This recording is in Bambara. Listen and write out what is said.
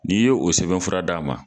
N'i ye o sɛbɛn fura d'a ma